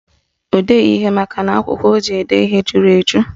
O deghị ihe makana akwụkwọ o ji ede ihe juru eju